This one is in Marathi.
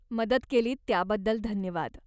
मदत केलीत त्याबद्दल धन्यवाद.